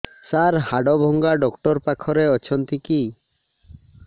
ସାର ହାଡଭଙ୍ଗା ଡକ୍ଟର ପାଖରେ ଅଛନ୍ତି କି